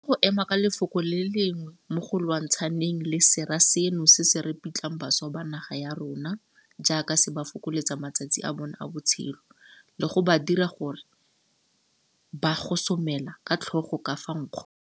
Re tshwanetse go ema ka lefoko le le lengwe mo go lwantshaneng le sera seno se se ripitlang bašwa ba naga ya rona jaaka se ba fokoletsa matsatsi a bona a botshelo, le go ba dira gore ba gosomela ka tlhogo ka fa nkgong.